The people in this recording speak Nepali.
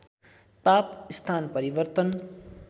ताप स्थान परिवर्तन